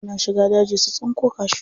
Suna shiga daji su tsinko cashew.